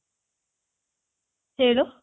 ಹೇಳು